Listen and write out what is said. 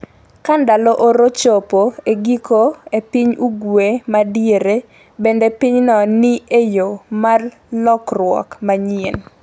Ka ndalo oro chopo e giko e piny ugwe ma diere, bende pinyno ni e yo mar lokruok manyien?